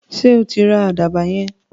Sọ tí ra àdàbà yẹn?